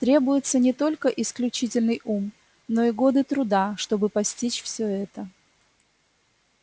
требуется не только исключительный ум но и годы труда чтобы постичь все это